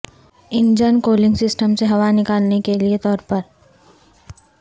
engine cooling system سے ہوا نکالنے کے لئے کے طور پر